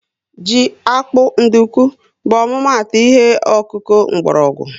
Ji, akpu na nduku bu ọmụma atụ ihe okuku mkpórógwu